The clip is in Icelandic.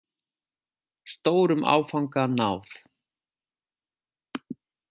Stórum áfanga náð